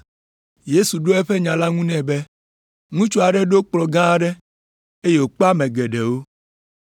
Yesu ɖo eƒe nya la ŋu nɛ be, “Ŋutsu aɖe ɖo kplɔ̃ gã aɖe, eye wòkpe ame geɖewo.